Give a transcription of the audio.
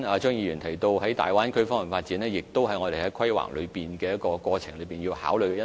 張議員剛才提到大灣區的發展，亦是我們在規劃過程中要考慮的因素。